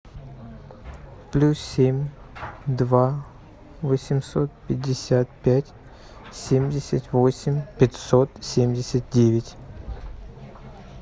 плюс семь два восемьсот пятьдесят пять семьдесят восемь пятьсот семьдесят девять